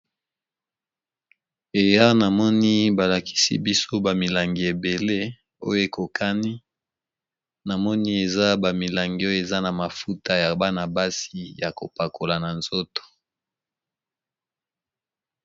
Aya namoni ba lakisi biso ba milangi ebele oyo ekokani namoni eza ba milangi oyo eza na mafuta ya bana basi ya kopakola na nzoto.